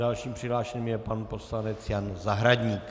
Dalším přihlášeným je pan poslanec Jan Zahradník.